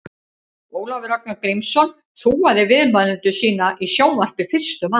Ólafur Ragnar Grímsson þúaði viðmælendur sína í sjónvarpi fyrstur manna.